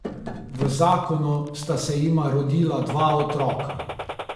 V zakonu sta se jima rodila dva otroka.